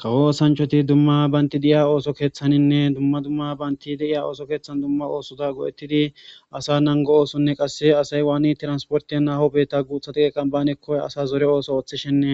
Kawo oosanchchathi dumma banththa de7iya ooso keeththaaninne dumma dumma banththe de7iya ooso keeththan dumma oosotha go7eththidi asaa nangguwanne qassi asay waani transporththiyan haaho biiththaa guuththa daqeeqan naaneekko asa zore oso ooththishenne